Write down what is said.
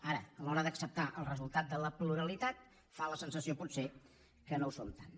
ara a l’hora d’acceptar el resultat de la pluralitat fa la sensació potser que no ho són tant